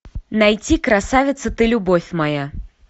найти красавица ты любовь моя